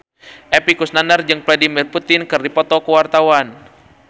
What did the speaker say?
Epy Kusnandar jeung Vladimir Putin keur dipoto ku wartawan